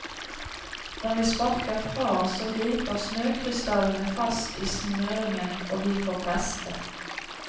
Når vi sparker fra så griper snøkrystallene fast i smøringen og vi får feste.